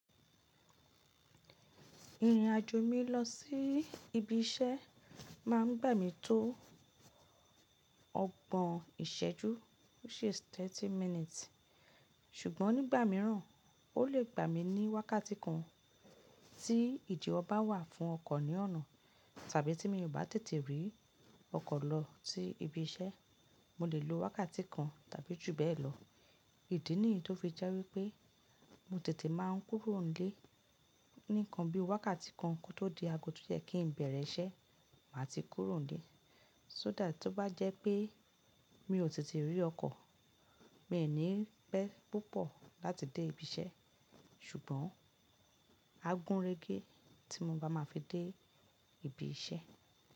Ìrìnàjò mi lọ sí ibi iṣẹ́ máa ń gbà mí tó ọgbọ̀n ìṣẹ́jú, which is thirty minutes. Ṣùgbọ́n nígbà mìíràn, ó lè gbà mí ní wákàtí kan. Tí ìdìwò bá wà fún ọkọ̀ ní ọ̀nà tàbí tí mo bá tètè rí ọkọ̀ lọ sí ibi iṣẹ́, mo lè lo wákàtí kan tàbí jù bẹ́ẹ̀ lọ. Ìdí nìyí tó fi jẹ́ wípé mo tètè máa ń kúrò ń ílé. Nìkan bí wákàtí kan tó di ago tó yẹ kí ń bẹ̀rẹ̀ iṣẹ́, màá ti kúrò ń ílé. So that tó bá jẹ́ pé mi ò tètè rí ọkọ̀, mi ní pẹ́ púpọ̀ láti dé ibi iṣẹ́. Ṣùgbọ́n a gún régé tí mo bá máa fi dé ibi iṣẹ́.